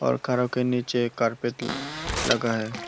और कारों के नीचे एक कार्पेट लगा है।